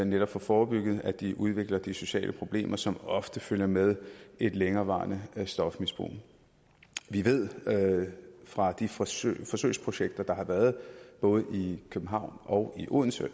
netop får forebygget at de udvikler de sociale problemer som ofte følger med et længerevarende stofmisbrug vi ved fra de forsøgsprojekter der har været i både københavn og odense